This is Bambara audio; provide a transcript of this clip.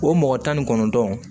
O mɔgɔ tan ni kɔnɔntɔn